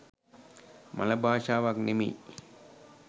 මළ භාෂාවක් නෙමෙයි.